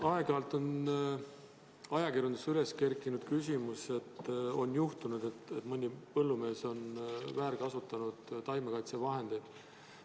Aeg-ajalt on ajakirjanduses üles kerkinud küsimus, et on juhtunud, et mõni põllumees on väärkasutanud taimekaitsevahendeid.